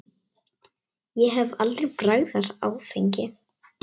Ég hef aldrei bragðað áfengi.